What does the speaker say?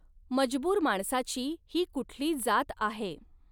मजबूर माणसाची ही कुठली जात आहे.